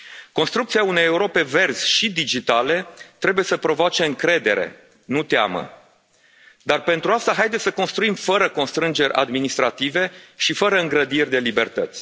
Construcția unei Europe verzi și digitale trebuie să provoace încredere, nu teamă, dar, pentru asta, haideți să construim fără constrângeri administrative și fără îngrădiri de libertăți.